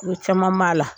Ko caman b'a la